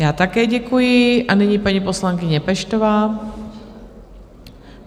Já také děkuji a nyní paní poslankyně Peštová.